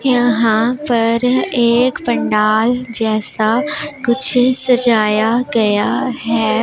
यहां पर एक पंडाल जैसा कुछ सजाया गया है।